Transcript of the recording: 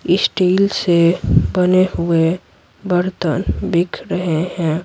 Steel से बने हुए बर्तन बिक रहे हैं।